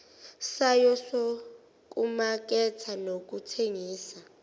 sayo sokumaketha nokuthengisa